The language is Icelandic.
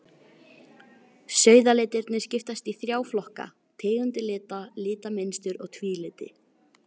Sauðalitirnir skiptast í þrjá flokka, tegundir lita, litamynstur og tvíliti.